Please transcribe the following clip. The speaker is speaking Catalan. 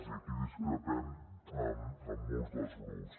i aquí discrepem amb molts dels grups